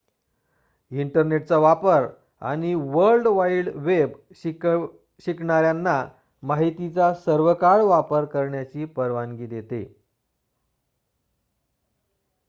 इंटरनेटचा वापर आणि वर्ल्ड वाईड वेब शिकणाऱ्यांना माहितीचा सर्वकाळ वापर करण्याची परवानगी देते